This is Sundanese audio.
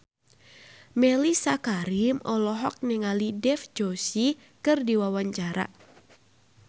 Mellisa Karim olohok ningali Dev Joshi keur diwawancara